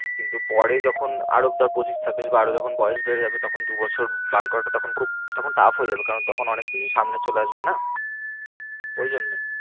কিন্তু পরে যখন আরো ধর পঁচিশ ছাব্বিশ বা আরো যখন বয়েস বেড়ে যাবে তখন দু বছর বার করাটা তখন খুব তখন tough হয়ে যাবে কারণ অনেক কিছু সামনে চলে আসবে না ওই জন্যই